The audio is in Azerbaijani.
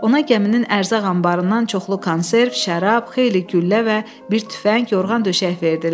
Ona gəminin ərzaq anbarından çoxlu konserv, şərab, xeyli güllə və bir tüfəng, yorğan döşək verdilər.